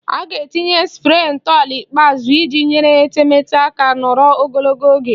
A ga-etinye spree ntọala ikpeazụ iji nyere etemeete aka nọrọ ogologo oge